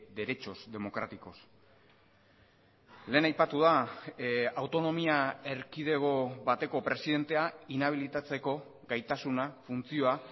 derechos democráticos lehen aipatu da autonomia erkidego bateko presidentea inabilitatzeko gaitasuna funtzioa